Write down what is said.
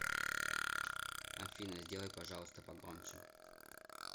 афина сделай пожалуйста погромче